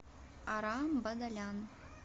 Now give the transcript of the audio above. арам бадалян